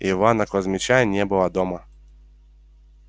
ивана кузмича не было дома